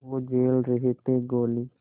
वो झेल रहे थे गोली